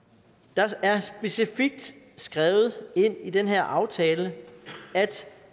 der er specifikt skrevet ind i den her aftale